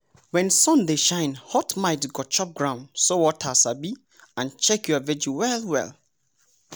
when sun dey shine hot mite go chop ground so water sabi and check your veggie well well.